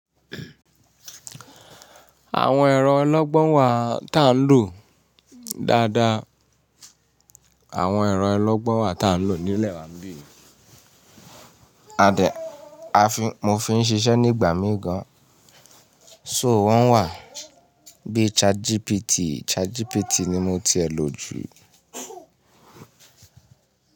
Àwọn ẹ̀rọ ọlọ́gbọ́n wà ti à ń lò dáadáa. Àwọn ẹ̀rọ ọlọ́gbọ́n wà tí à ń lò nílẹ̀ wa bí i a de, mo fi ń ṣiṣẹ́ nígbà mí gan. So wọ́n wà bíi ChatGPT. ChatGPT ni mo ti ẹ lo jù.